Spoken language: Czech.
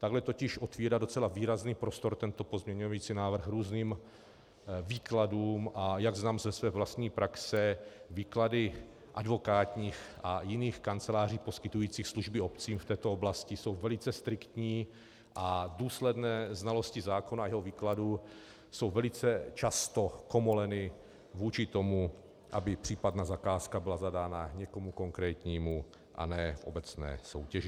Takhle totiž otvírá docela výrazný prostor tento pozměňující návrh různým výkladům, a jak znám ze své vlastní praxe, výklady advokátních a jiných kanceláří poskytujících služby obcím v této oblasti jsou velice striktní a důsledné znalosti zákona a jeho výkladů jsou velice často komoleny vůči tomu, aby případná zakázka byla zadána někomu konkrétnímu a ne v obecné soutěži.